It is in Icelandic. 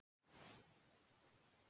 Frú mín góð.